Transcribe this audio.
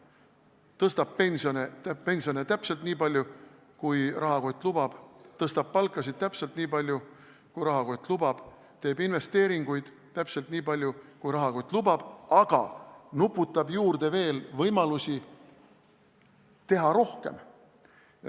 Ta tõstab pensione täpselt nii palju, kui rahakott lubab, tõstab palkasid täpselt nii palju, kui rahakott lubab, teeb investeeringuid täpselt nii palju, kui rahakott lubab, aga nuputab juurde võimalusi teha rohkem.